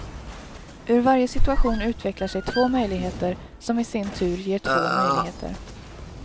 Ur varje situation utvecklar sig två möjligheter som i sin tur ger två möjligheter.